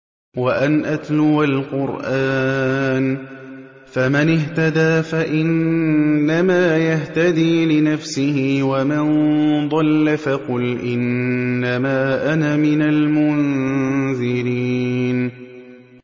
وَأَنْ أَتْلُوَ الْقُرْآنَ ۖ فَمَنِ اهْتَدَىٰ فَإِنَّمَا يَهْتَدِي لِنَفْسِهِ ۖ وَمَن ضَلَّ فَقُلْ إِنَّمَا أَنَا مِنَ الْمُنذِرِينَ